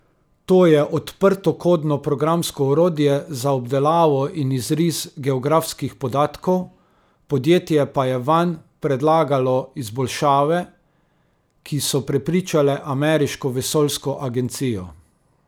To je odprtokodno programsko orodje za obdelavo in izris geografskih podatkov, podjetje pa je vanj predlagalo izboljšave, ki so prepričale ameriško vesoljsko agencijo.